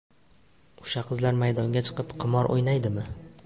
O‘sha qizlar maydonga chiqib, qimor o‘ynaydimi?